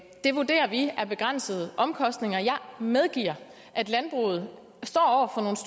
det vurderer vi er begrænsede omkostninger jeg medgiver at landbruget står